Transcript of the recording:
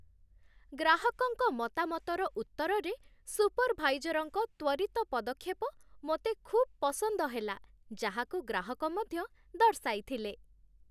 ଗ୍ରାହକଙ୍କ ମତାମତର ଉତ୍ତରରେ ସୁପରଭାଇଜରଙ୍କ ତ୍ୱରିତ ପଦକ୍ଷେପ ମୋତେ ଖୁବ୍ ପସନ୍ଦ ହେଲା, ଯାହାକୁ ଗ୍ରାହକ ମଧ୍ୟ ଦର୍ଶାଇଥିଲେ।